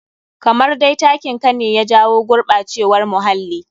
Kamar dai takin ka ne ya jawo gurɓacewar muhalii.